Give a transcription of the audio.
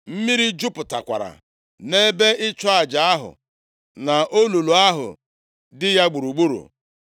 Mmiri jupụtakwara nʼebe ịchụ aja ahụ, na olulu ahụ dị ya gburugburu.